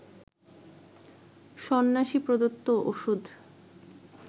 সন্ন্যাসী প্রদত্ত ওষুধ